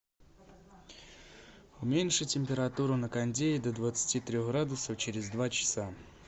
уменьши температуру на кондее до двадцати трех градусов через два часа